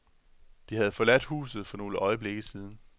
De havde forladt huset for nogle øjeblikke siden.